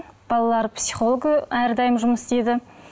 балалар психологы әрдайым жұмыс істейді